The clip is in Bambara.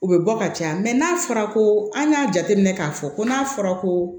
U bɛ bɔ ka caya n'a fɔra ko an y'a jateminɛ k'a fɔ ko n'a fɔra ko